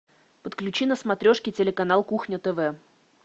подключи на смотрешке телеканал кухня тв